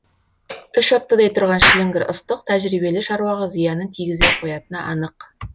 үш аптадай тұрған шіліңгір ыстық тәжірибелі шаруаға зиянын тигізе қоятыны анық